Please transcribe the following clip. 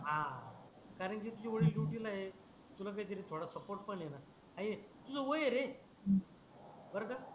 हा कारण की तुझे वडील ड्युटी ला आहे तुला काही तरी थोडा सपोर्ट पण आहे णा आहे तुझ वय आहे रे बर का